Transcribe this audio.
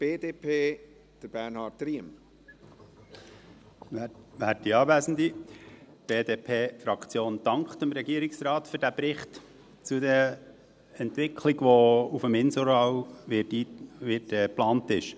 Die BDP-Fraktion dankt dem Regierungsrat für diesen Bericht zur Entwicklung, die auf dem Inselareal geplant ist.